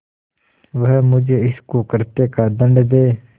वह मुझे इस कुकृत्य का दंड दे